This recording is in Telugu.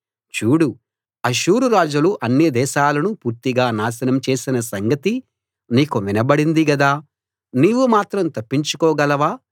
చూడు అష్షూరు రాజులు అన్ని దేశాలను పూర్తిగా నాశనం చేసిన సంగతి నీకు వినబడింది గదా నీవు మాత్రం తప్పించుకోగలవా